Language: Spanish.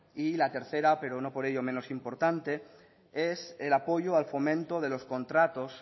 y la tercera pero no por ello menos importante es el apoyo al fomento de los contratos